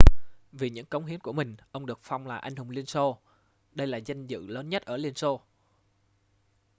vì những công hiến của mình ông được phong là anh hùng liên xô đây là vinh dự lớn nhất ở liên xô